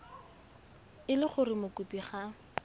e le gore mokopi ga